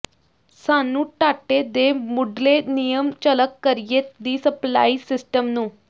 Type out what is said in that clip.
ਸਾਨੂੰ ਡਾਟੇ ਦੇ ਮੁੱਢਲੇ ਨਿਯਮ ਝਲਕ ਕਰੀਏ ਦੀ ਸਪਲਾਈ ਸਿਸਟਮ ਨੂੰ